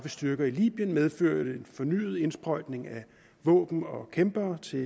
styrker i libyen medførte fornyet indsprøjtning af våben og kæmpere til